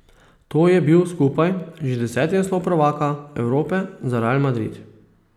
To je bil skupaj že deseti naslov prvaka Evrope za Real Madrid.